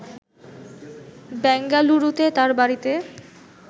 ব্যাঙ্গালুরুতে তার বাড়িতে